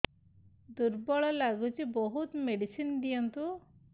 ଦୁର୍ବଳ ଲାଗୁଚି ବହୁତ ମେଡିସିନ ଦିଅନ୍ତୁ